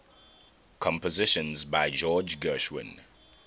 compositions by george gershwin